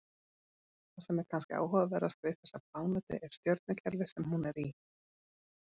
Það sem er kannski áhugaverðast við þessa plánetu er stjörnukerfið sem hún er í.